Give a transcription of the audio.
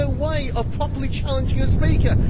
we have no way of properly challenging a speaker